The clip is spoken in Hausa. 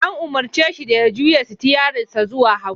An umarce shi da ya juya sitiyarinsa zuwa hagu.